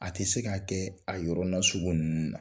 A tɛ se k'a kɛ a yɔrɔ nasugu ninnu na.